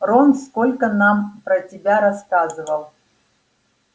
рон сколько нам про тебя рассказывал